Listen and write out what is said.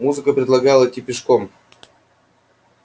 музыка предлагала идти пешком